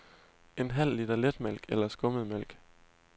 En halv liter letmælk eller skummetmælk.